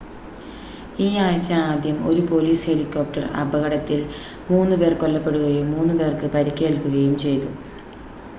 ഈ ആഴ്ച ആദ്യം ഒരു പോലീസ് ഹെലികോപ്റ്റർ അപകടത്തിൽ 3 പേർ കൊല്ലപ്പെടുകയും 3 പേർക്ക് പരിക്കേൽക്കുകയും ചെയ്തു